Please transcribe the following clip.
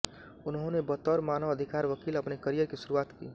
उन्होने बतौर मानव अधिकार वकील अपने करियर की शुरुआत की